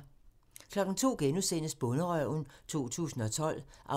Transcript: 02:00: Bonderøven 2012 (14:103)*